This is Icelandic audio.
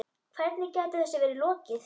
Hvernig gæti þessu verið lokið?